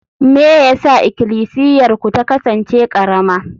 me yasa Ikklisiyarku ta kasance karama?